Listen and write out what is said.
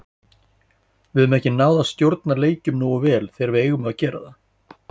Við höfum ekki náð að stjórna leikjum nógu vel þegar við eigum að gera það.